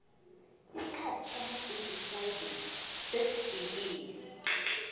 isikhathi sama gudi frayideyi sesifikile